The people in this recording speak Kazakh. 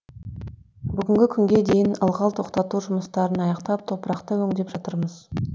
бүгінгі күнге дейін ылғал тоқтату жұмыстарын аяқтап топырақты өңдеп жатырмыз